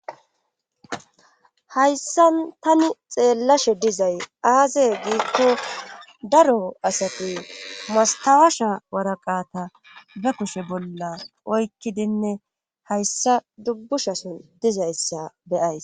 hayssan tani xeellashe dizay aaze giikko daro asati mastawasha waraqata be kushe bolla oykkidinne hayssa dubbushason dizayssa beyays